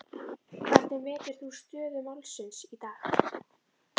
Hvernig metur þú stöðu málsins í dag?